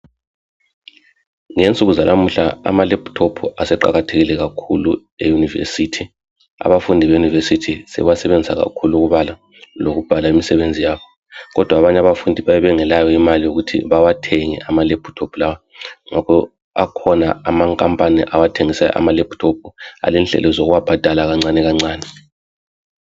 Ngensuku zanamuhla amalaptop aseqakathekile kakhulu ema univesithi, abafundi be univesithi sebewa sebenzisa kakhulu ukubala lokubhala umsebenzi yabo kodwa abanye abafundi bayabe bengelayo imali yokuthi bawathenge amalaptop lawa ngakho akhona amankampani athengisayo amalaptop alendlela zokuwabhadala kancane kancane